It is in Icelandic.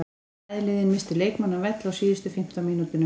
Bæði lið misstu leikmann af velli á síðustu fimmtán mínútunum.